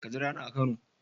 Ka jira ni a kano.